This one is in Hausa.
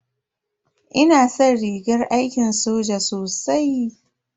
Ina san rigar aiki soja sosai.